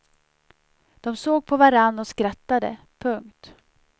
De såg på varann och skrattade. punkt